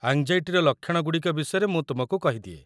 ଆଙ୍ଗ୍‌ଜାଇଟିର ଲକ୍ଷଣ ଗୁଡ଼ିକ ବିଷୟରେ ମୁଁ ତୁମକୁ କହିଦିଏ।